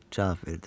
Cavab verdim.